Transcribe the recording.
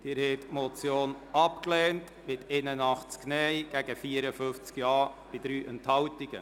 Sie haben die Motion mit 81 Nein-Stimmen abgelehnt, gegen 54 Ja-Stimmen und 3 Enthaltungen.